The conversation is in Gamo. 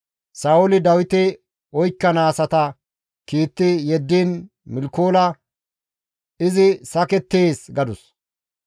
Sa7ooli Dawite oykkana asata kiitti yeddiin Milkoola, «Izi sakettees» gadus.